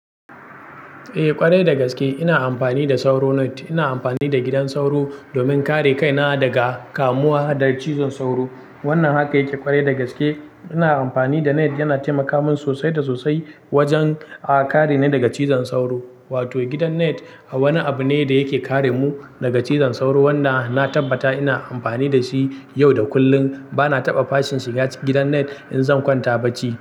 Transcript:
Eh ƙwarai da gaske ina amfani da sauro net. Ina amfani da gidan sauro domin kare kaina daga kamuwa da cizon sauro. Wannan haka yake ƙwarai da gaske. Ina amfani da net yana taimaka min sosai da sosai wajen a-kare ni daga cizon sauro. Wato gidan net wani abu ne da yake kare mu daga cizon sauro wanda na tabbata ina amfani da shi yau da kullum. Bana taɓa fashin shiga ci gidan net in zan kwanta bacci.